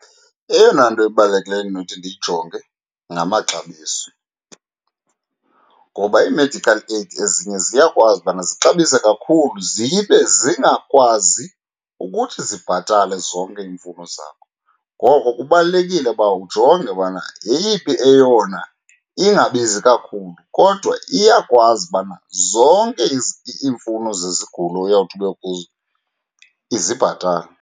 Eyona nto ebalulekileyo endinothi ndiyijonge ngamaxabiso, ngoba ii-medical aid ezinye ziyakwazi ubana zixabise kakhulu zibe zingakwazi ukuthi zibhatale zonke iimfuno zakho. Ngoko kubalulekile uba ujonge ubana yeyiphi eyona ingabizi kakhulu kodwa iyakwazi ubana zonke iimfuno zezigulo oyawuthi ube kuzo izibhatale.